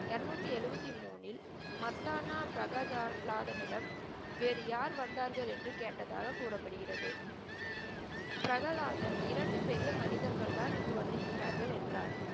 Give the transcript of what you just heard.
இரநூத்தி எழுவத்தி மூனில், மர்தானா பிரகலாதனிடம் வேறு யார் வந்தார்கள் என்று கேட்டதாக கூறப்படுகிறது. பிரகலாதன் இரண்டு பெரியமனிதர்கள் தான் இங்கு வந்து இருக்கிறார்கள் என்றார்.